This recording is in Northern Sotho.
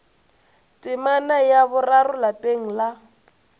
temana ya boraro lapeng la